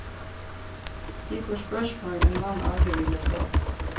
Vi får spørsmål en mann aldri ville få.